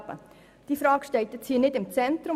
Aber diese Frage steht jetzt nicht im Zentrum.